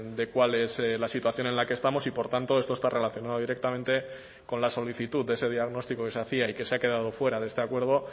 de cuál es la situación en la que estamos y por tanto esto está relacionado directamente con la solicitud de ese diagnóstico que se hacía y que se ha quedado fuera de este acuerdo